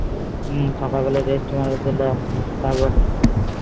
হম সকাল বেলা registry marriage হলো